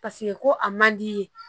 Paseke ko a man di ye